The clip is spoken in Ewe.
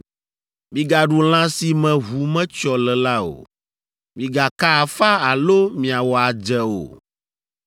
“ ‘Migaɖu lã si me ʋu metsyɔ le la o. “ ‘Migaka afa alo miawɔ adze o.